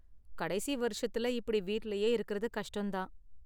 கடைசி வருஷத்துல இப்படி வீட்லயே இருக்கறது கஷ்டம் தான்.